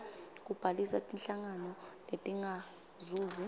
kubhalisa tinhlangano letingazuzi